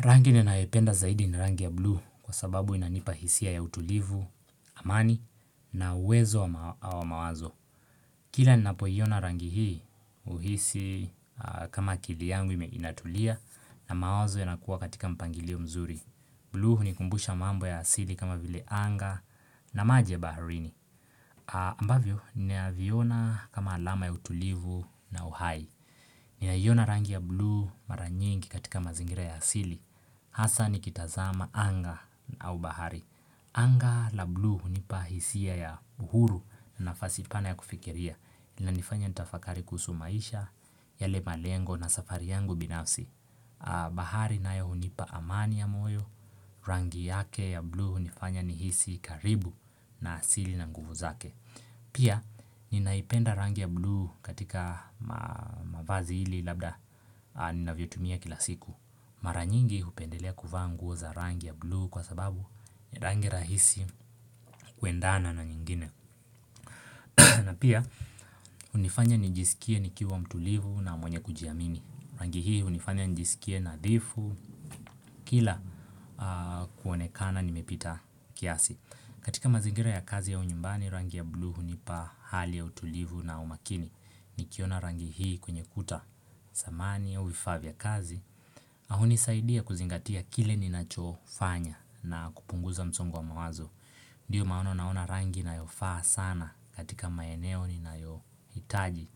Rangi ni naependa zaidi ni rangi ya bluu kwa sababu inanipa hisia ya utulivu, amani na uwezo wa mawazo. Kila ninapo iona rangi hii huhisi kama akili yangu inatulia na mawazo yanakuwa katika mpangilio mzuri. Bluu hunikumbusha mambo ya asili kama vile anga na maji ya baharini. Ambavyo na viona kama alama ya utulivu na uhai. Ninaiona rangi ya blue mara nyingi katika mazingira ya asili. Hasa nikitazama anga au bahari Anga la bluu hunipa hisia ya uhuru na nafasi pana ya kufikiria unanifanya nitafakari kuhusu maisha yale malengo na safari yangu binafsi bahari nayo hunipa amani ya moyo Rangi yake ya bluu hunifanya ni hisi karibu na asili na nguvu zake Pia ninaipenda rangi ya bluu katika mavazi hili labda ninavyotumia kila siku Mara nyingi hupendelea kuvaa nguo za rangi ya bluu kwa sababu ni rangi rahisi kuendana na nyingine na pia hunifanya nijisikie nikiwa mtulivu na mwenye kujiamini Rangi hii hunifanya nijisikie nadhifu kila kuonekana nimepita kiasi katika mazingira ya kazi au nyumbani rangi ya bluu hunipa hali ya utulivu na umakini nikiona rangi hii kwenye ukuta samani au vifaa vya kazi na hunisaidia kuzingatia kile ninachofanya na kupunguza msongo wa mawazo Ndiyo maono naona rangi inayofaa sana katika maeneo ninayo hitaji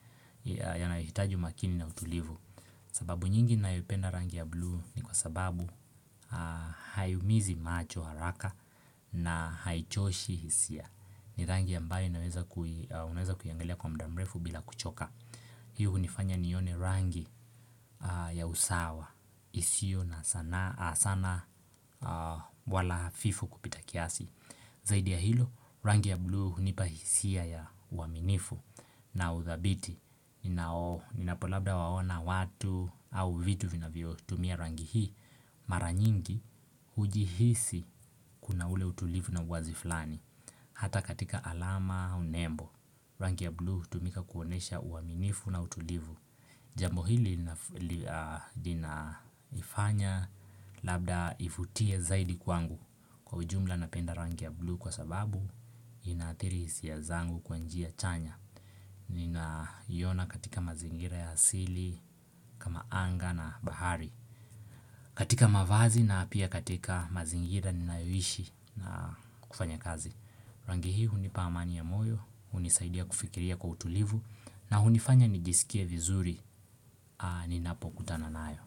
Yanayitaji umakini na utulivu sababu nyingi ninayopenda rangi ya blue ni kwa sababu Hayaumizi macho haraka na haichoshi hisia ni rangi ambayo unaweza kuiangalia kwa muda mrefu bila kuchoka Hii hunifanya nione rangi ya usawa isio na sana wala hafifu kupita kiasi Zaidi ya hilo, rangi ya bluu hunipa hisia ya uaminifu na uthabiti ninapo labda waona watu au vitu vinavyo tumia rangi hii Mara nyingi, huji hisi kuna ule utulivu na uwazi flani Hata katika alama unembo Rangi ya bluu hutumika kuonesha uaminifu na utulivu Jambo hili linanifanya labda nivutia zaidi kwangu kwa ujumla napenda rangi ya bluu kwa sababu ina adhiri hisiya zangu kwa njia chanya Ninaiona katika mazingira ya hasili kama anga na bahari katika mavazi na pia katika mazingira ninayoishi na kufanya kazi Rangi hii hunipa amani ya moyo, hunisaidia kufikiria kwa utulivu na hunifanya nijisikie vizuri ninapokutana nayo.